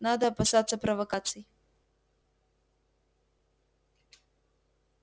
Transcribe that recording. надо опасаться провокаций